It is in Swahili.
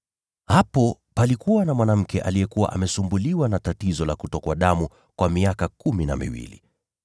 Hapo palikuwa na mwanamke aliyekuwa amesumbuliwa na tatizo la kutokwa damu kwa miaka kumi na miwili.